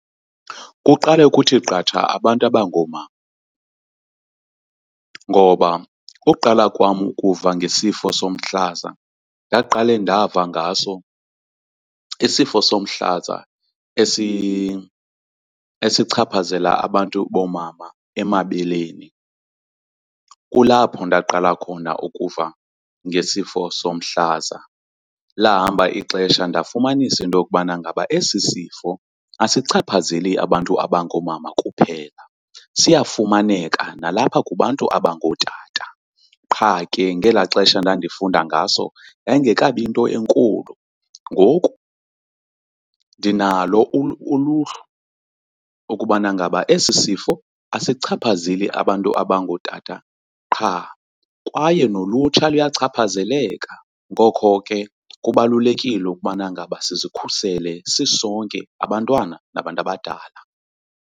Kuqale kuthi qatha abantu abangoomama ngoba uqala kwam ukuva ngesifo somhlaza ndaqale ndava ngaso isifo somhlaza esichaphazela abantu boomama emabeleni. Kulapho ndaqala khona ukuva ngesifo somhlaza, lahamba ixesha ndafumanisa into yokubana ngaba esi sifo asichaphazeli abantu abangoomama kuphela siyafumaneka nalapha kubantu abangootata qha ke ngelaa xesha ndandifunda ngaso yayingekabi yinto enkulu. Ngoku ndinalo uluhlu ukubana ngaba esi sifo asichaphazeli abantu abangootata qha kwaye nolutsha luyachaphazeleka, ngoko ke kubalulekile ukubana ngaba sizikhusele sisonke, abantwana nabantu abadala.